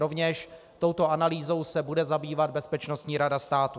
Rovněž touto analýzou se bude zabývat Bezpečnostní rada státu.